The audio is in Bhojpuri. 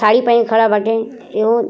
साड़ी पेहेन के खड़ा बाटे। ए --